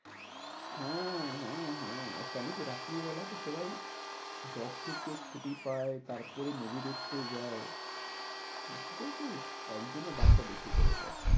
হ্যাঁ হ্যাঁ হ্যাঁ কেন কি? রাত্রিবেলা তো সবাই job থেকে ছুটি পায়, তারপরে movie দেখতে যায়। বুঝেছিস? তাই জন্য দামটা বেশি করে দেয়।